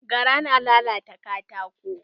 Gara na lalata katako.